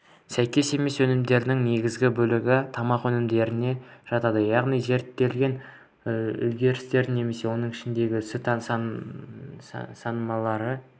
сәйкес емес өнімдердің негізгі бөлігі тамақ өнімдеріне жатады яғни зерттелген үлгілердің немесе оның ішінде сүт сынамалары